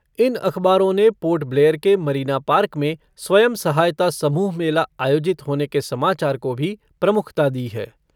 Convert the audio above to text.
इन अखबारों ने पोर्ट ब्लेयर के मरीना पार्क में स्वयं सहायता समूह मेला आयोजित होने के समाचार को भी प्रमुखता दी है।